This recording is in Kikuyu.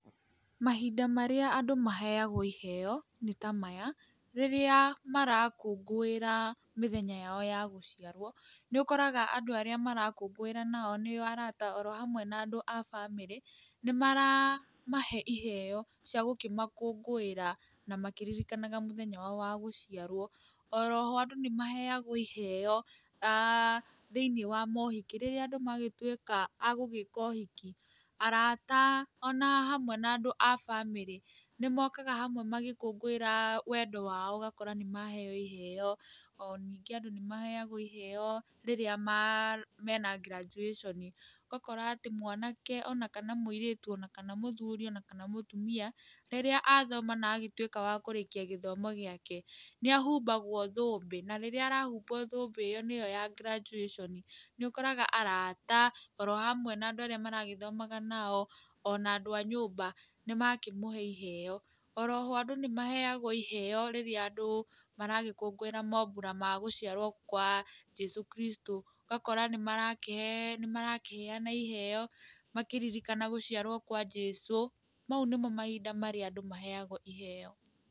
Mahinda marĩa andũ maheagwo iheo nĩ ta maya, rĩrĩa marakũngũĩra mĩthenya yao ya gũciarwo, nĩ ũkoraga andũ arĩa marakũngũĩra nao nĩo arata oro hamwe na andũ a bamĩrĩ, nĩ maramahe iheo cia gũkĩmakũngũĩra na makĩririkanaga mũthenya wao wa gũciarwo. Oroho andũ nĩ maheagwo iheo thĩiniĩ wa mohiki, rĩrĩa andũ nĩ magĩtũĩka a gũĩka ũhiki, arata oro hamwe na andũ a bamĩrĩ nĩ mokaga hamwe magĩkũngũĩra wendo wao ũgakora nĩ maheo iheo. O ningĩ andũ nĩ maheagwo iheo rĩrĩa mena graduation ũgakora atĩ mwanake, ona kana mũirĩtu, ona kana mũthuri, ona kana mũtumia, rĩrĩa athoma na agĩtuĩka wa kũrĩkia gĩthomo gĩake, nĩ ahumbagwo thũmbĩ na rĩrĩa arahumwo thũmbĩ ĩyo nĩyo ya graduation nĩ ũkoraga arata oro hamwe na andũ arĩa maragĩthomaga nao ona andũ a nyũmba nĩ makĩmũhe iheo. Oroho andũ nĩ maheagwo iheo rĩrĩa andũ maragĩkũngũĩra mambũra ma gũciarwo kwa Jesũ Kristũ, ũgakora nĩ marakĩheana iheo makĩririkana gũciarwo kwa Jesũ, mau nĩmo mahinda marĩa andũ maheagwo iheo.